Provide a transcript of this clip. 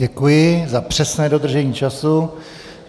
Děkuji za přesné dodržení času.